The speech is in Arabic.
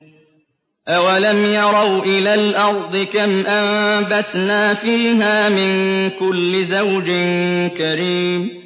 أَوَلَمْ يَرَوْا إِلَى الْأَرْضِ كَمْ أَنبَتْنَا فِيهَا مِن كُلِّ زَوْجٍ كَرِيمٍ